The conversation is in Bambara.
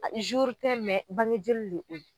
tɛ bange joli de don.